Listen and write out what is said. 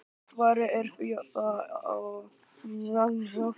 Svarið er því það, að jaði geti ekki myndast á Íslandi.